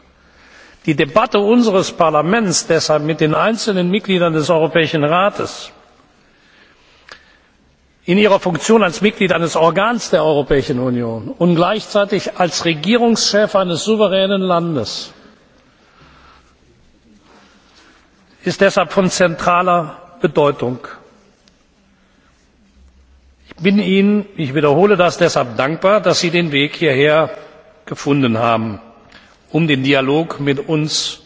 Deshalb ist die Debatte unseres Parlaments mit den einzelnen Mitgliedern des Europäischen Rates in ihrer Funktion als Mitglied eines Organs der Europäischen Union und gleichzeitig als Regierungschef eines souveränen Landes von zentraler Bedeutung. Ich bin Ihnen ich wiederhole das deshalb dankbar, dass Sie den Weg hierher gefunden haben, um den Dialog mit